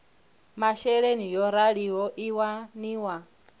masheleni yo raliho i waniwa